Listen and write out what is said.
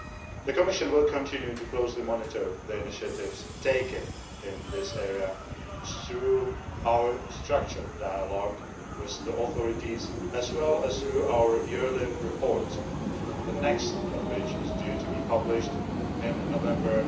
The Commission will continue to closely monitor the initiatives taken in this area through our structured dialogue with the authorities, as well as through our yearly reports, the next of which is due to be published in November